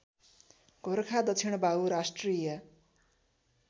गोरखा दक्षिणबाहु राष्ट्रिय